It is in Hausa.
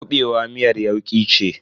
kuɓewa miyar yauki ce.